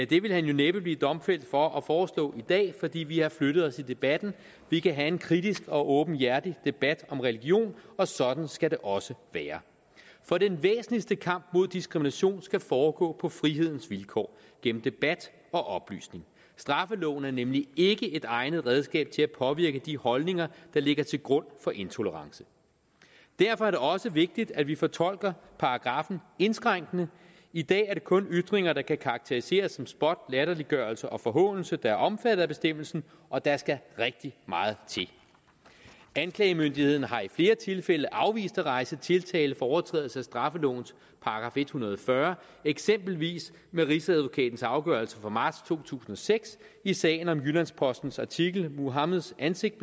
det ville han jo næppe bliver domfældt for at foreslå i dag fordi vi har flyttet os i debatten vi kan have en kritisk og åbenhjertig debat om religion og sådan skal det også være for den væsentligste kamp mod diskrimination skal foregå på frihedens vilkår gennem debat og oplysning straffeloven er nemlig ikke et egnet redskab til at påvirke de holdninger der ligger til grund for intolerance derfor er det også vigtigt at vi fortolker paragraffen indskrænkende i dag er det kun ytringer der kan karakteriseres som spot latterliggørelse og forhånelse der er omfattet af bestemmelsen og der skal rigtig meget til anklagemyndigheden har i flere tilfælde afvist at rejse tiltale for overtrædelse af straffelovens § en hundrede og fyrre eksempelvis med rigsadvokatens afgørelse fra marts to tusind og seks i sagen om jyllands postens artikel muhammeds ansigt